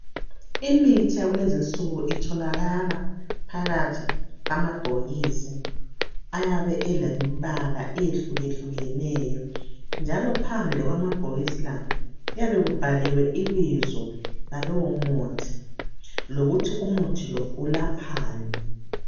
Imithi yakulezinsuku itholakala phakathi kwamabhokisi ayabe elembala eyehlukehlukeneyo njalo phandle kwamabhokisi la kuyabe kubhaliwe ibizo lalowo muthi lokuthi umuthi lo ulaphani.